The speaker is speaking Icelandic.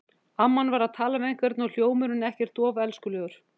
Amman var að tala við einhvern og hljómurinn ekkert of elskulegur.